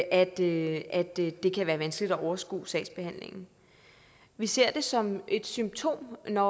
at det at det kan være vanskeligt at overskue sagsbehandlingen vi ser det som et symptom når